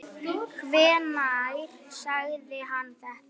Hvenær sagði hann þetta?